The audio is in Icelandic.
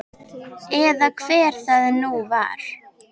Eða hver það nú var.